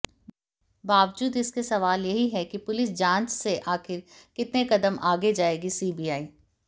बावजूद इसके सवाल यही है कि पुलिस जांच से आखिर कितने कदम आगे जाएगी सीबीआई